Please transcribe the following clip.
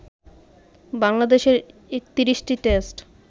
বাংলাদেশের ৩১টি টেস্ট